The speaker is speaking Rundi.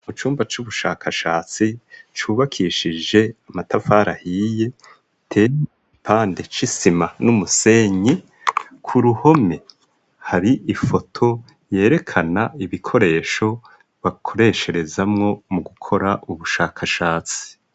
Mu cumba c'ubushakashatsi cubakishije amatafari ahiye ateye igipande c'isima n'umusenyi, k'uruhome har'ifoto yerekana ibikoresho bakoresherezamwo mu gukora ubushakashatsi.